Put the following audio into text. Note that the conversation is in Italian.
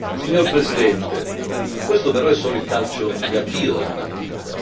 Signor Presidente, questo però è solo il calcio di avvio della partita.